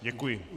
Děkuji.